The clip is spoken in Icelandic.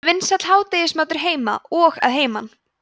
það er vinsæll hádegismatur heima og að heiman